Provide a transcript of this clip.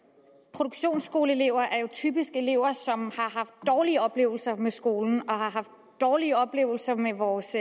produktionsskoleelever er jo typisk elever som har haft dårlige oplevelser med skolen og har haft dårlige oplevelser med vores